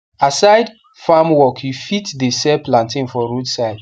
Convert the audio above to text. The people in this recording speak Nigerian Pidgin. aside farm work u fit the sell plantain for road side